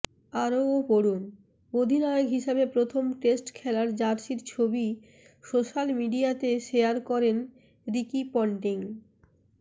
আরও পড়ুনঃঅধিনায়ক হিসাবে প্রথম টেস্ট খেলার জার্সির ছবি সোশ্যাল মিডিয়াতে শেয়ার করলেন রিকি পন্টিং